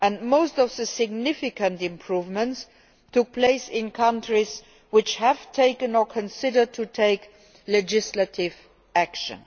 Most of the significant improvements took place in countries which have taken or have considered taking legislative action.